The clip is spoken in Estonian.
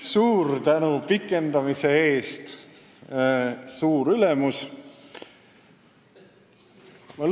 Suur tänu pikendamise eest, suur ülemus!